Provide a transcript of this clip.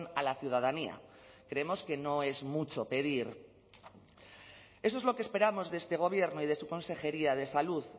a la ciudadanía creemos que no es mucho pedir eso es lo que esperamos de este gobierno y de su consejería de salud